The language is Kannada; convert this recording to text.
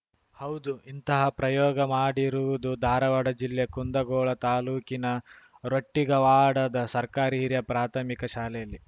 ಹೌದು ಇಂತಹ ಪ್ರಯೋಗ ಮಾಡಿರುವುದು ಧಾರವಾಡ ಜಿಲ್ಲೆ ಕುಂದಗೋಳ ತಾಲೂಕಿನ ರೊಟ್ಟಿಗವಾಡದ ಸರ್ಕಾರಿ ಹಿರಿಯ ಪ್ರಾಥಮಿಕ ಶಾಲೆಯಲ್ಲಿ